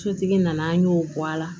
Sotigi nana an y'o bɔ a la